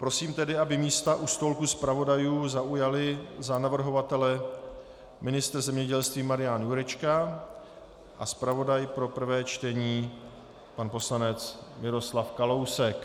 Prosím tedy, aby místa u stolku zpravodajů zaujali za navrhovatele ministr zemědělství Marian Jurečka a zpravodaj pro prvé čtení pan poslanec Miroslav Kalousek.